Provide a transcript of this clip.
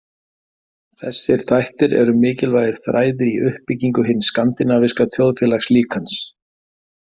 Þessir þættir eru mikilvægir þræðir í uppbyggingu hins skandinavíska þjóðfélagslíkans.